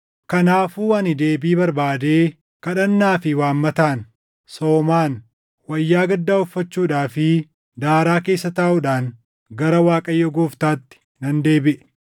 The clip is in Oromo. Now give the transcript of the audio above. Kanaafuu ani deebii barbaadee kadhannaa fi waammataan, soomaan, wayyaa gaddaa uffachuudhaa fi daaraa keessa taaʼuudhaan gara Waaqayyoo Gooftaatti nan deebiʼe.